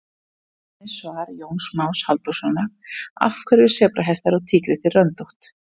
Sjá einnig svar Jóns Más Halldórssonar Af hverju eru sebrahestar og tígrisdýr röndótt?